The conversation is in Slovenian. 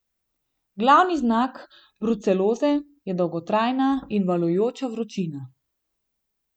Glavni znak bruceloze je dolgotrajna in valujoča vročina.